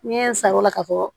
N ye n sarona ka fɔ